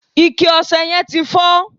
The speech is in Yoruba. ike ọsẹ yen ti fo